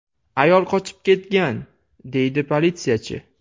Ayol qochib ketgan”, deydi politsiyachi.